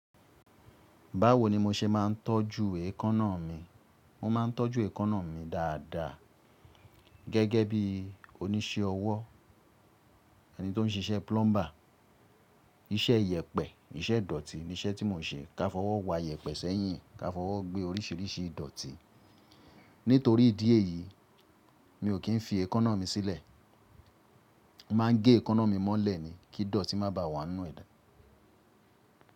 Báwo ni mo se máà ń tọ́jú èékánná mi? Mo máà ń tọ́jú èékánná mi dáadáa gẹ́gẹ́ bí oníṣẹ́ ọwọ́, ẹni tí ó ń ṣiṣẹ́ plumber. Iṣẹ́ iyẹ̀pẹ̀, iṣẹ́ ìdọ̀tí ni iṣẹ́ tí mo n ṣe. Ka fọwọ́ wa iyẹ̀pẹ̀ sẹ́yìn, ka fọwọ́ gbé oríṣìíríṣìí ìdọ̀tí. Nítorí ìdí èyí, mi ò kí ń fi èékánná mi sílẹ̀. Mo máà ń gé èékánná mi mọ́lẹ̀ ni kí ìdọ̀tí má bà wá ńú ẹ̀dá.